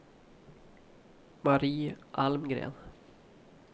Marie Almgren